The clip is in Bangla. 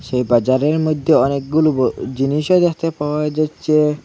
সেই বাজারের মইধ্যে অনেকগুলু ব জিনিসও যাতে পাওয়া যাচ্ছে।